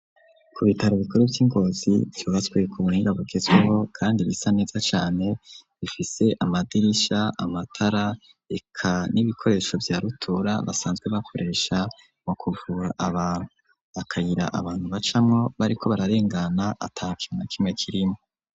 Ku bitaro ibikore vy'ingozi vyobaswiku muringa gugezweho, kandi bisa neza cane bifise amadirisha amatara eka n'ibikoresho vya rutura basanzwe bakoresha mu kuvura abantuu akayira abantu bacamwo bariko bararengana ata kimwa kime kirimwo.